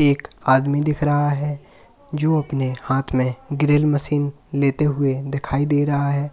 एक आदमी दिख रहा है जो अपने हाथ में ड्रिल मशीन लेते हुए दिखाई दे रहा है